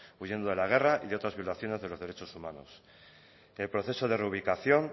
huyendo de la guerra y de otras violaciones de los derechos humanos el proceso de reubicación